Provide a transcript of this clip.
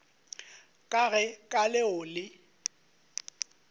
ka ge ka leo le